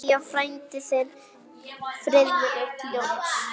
Kveðja, þinn frændi Friðrik Jónas.